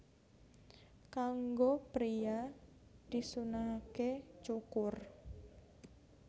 Kanggo priya disunnahaké cukur